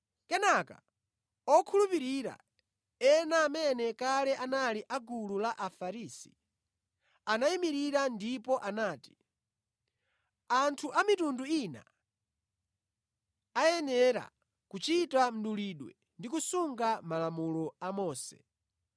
Kenaka, okhulupirira ena amene kale anali a gulu la Afarisi anayimirira ndipo anati, “Anthu a mitundu ina ayenera kuchita mdulidwe ndi kusunga malamulo a Mose.”